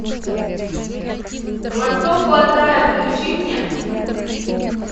к востоку от рая включи мне